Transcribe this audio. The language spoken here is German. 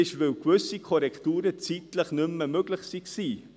Diese lautet, dass gewisse Korrekturen zeitlich nicht mehr möglich waren.